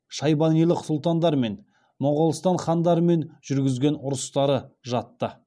шайбанилық сұлтандармен және моғолстан хандарымен жүргізген ұрыстары жатты